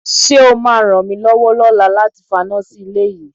Ṣé o máa ràn mí lọ́wọ́ lọ́la láti faná sí ilé yìí?